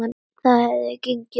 Það hefði gengið upp.